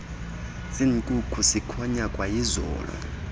senkukhu sikhonya kwayizolo